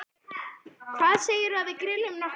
Hvað segirðu um að við grillum nokkrar?